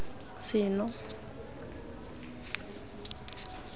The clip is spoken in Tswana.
seno